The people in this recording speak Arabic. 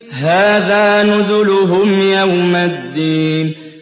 هَٰذَا نُزُلُهُمْ يَوْمَ الدِّينِ